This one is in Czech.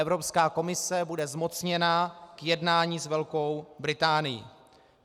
Evropská komise bude zmocněna k jednání s Velkou Británií.